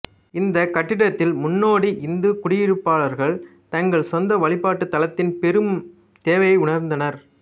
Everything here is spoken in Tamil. இந்த கட்டத்தில் முன்னோடி இந்து குடியிருப்பாளர்கள் தங்கள் சொந்த வழிபாட்டுத் தலத்தின் பெரும் தேவையை உணர்ந்தனர்